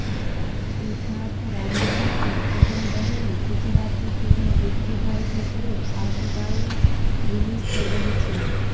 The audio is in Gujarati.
સિદ્ધાર્થ રાંદેરિયાની પહેલવહેલી Gujarati film Gujjubhai the great આવતી કાલે રિલીઝ થઈ રહી છે